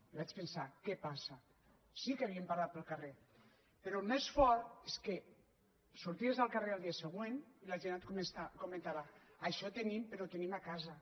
i vaig pensar què passa sí que n’havíem parlat el carrer però el més fort és que sorties al carrer el dia següent i la gent et comentava això ho tenim però ho tenim a casa